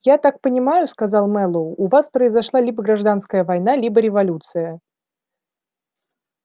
я так понимаю сказал мэллоу у вас произошла либо гражданская война либо революция